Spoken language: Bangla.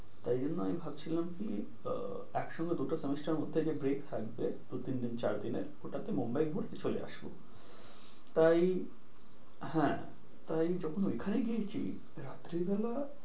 তাই জন্য আমি ভাবছিলাম কি একসঙ্গে দুটো সেমিস্টার মধ্যে যে break থাকবে দু তিন চার দিনের ওটাতে মুম্বাই ঘুরতে চলে আসব। তাই হ্যাঁ তাই যখন ওখানে গিয়েছি রাত্রিবেলা,